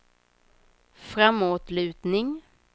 framåtlutning